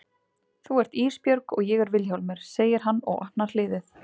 Þú ert Ísbjörg og ég er Vilhjálmur, segir hann og opnar hliðið.